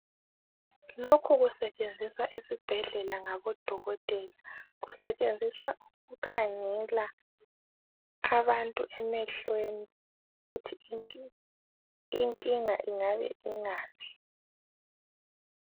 lokhu kusetshenziswa esibhedlela ngabo dokotela kusetshenziswa ukukhangela abantu emehlweni ukuthi inkinga ingabe ingaphi